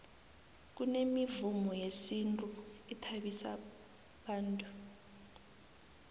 kunemivumo yesintu ethabisa bantu